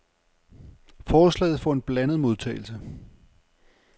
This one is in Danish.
Forslaget får en blandet modtagelse.